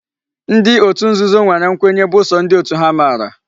Ndi otu nzuzo nwere nkwenye bu so ndi otu ha mara